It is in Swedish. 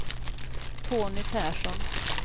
Tony Persson